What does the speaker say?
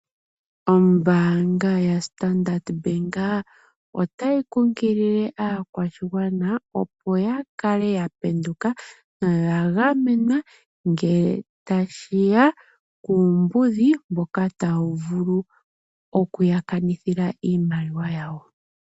Ombanga yoStandard Bank ota yi kunkulile aakwashigwana ya kale ya penduka noya gamenwa ngele ta shiya kuumbudhi mboka ta wu vulu okuyakanithila iimaliwa yawo.